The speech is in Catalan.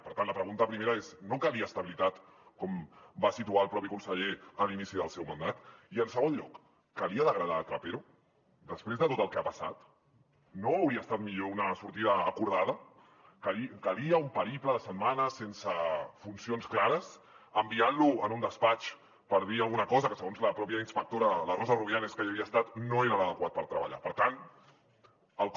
per tant la pregunta primera és no calia estabilitat com va situar el propi conseller a l’inici del seu mandat i en segon lloc calia degradar trapero després de tot el que ha passat no hauria estat millor una sortida acordada calia un periple de setmanes sense funcions clares enviant lo a un despatx per dir ne alguna cosa que segons la pròpia inspectora la rosa rubianes que hi havia estat no era l’adequat per treballar per tant el com